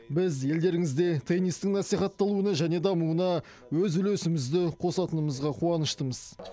біз елдеріңізде теннистің насихатталуына және дамуына өз үлесімізді қосатынымызға қуаныштымыз